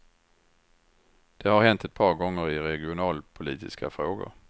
Det har hänt ett par gånger i regionalpolitiska frågor.